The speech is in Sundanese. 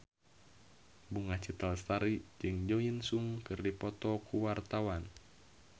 Bunga Citra Lestari jeung Jo In Sung keur dipoto ku wartawan